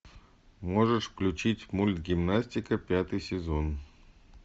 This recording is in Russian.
можешь включить мульт гимнастика пятый сезон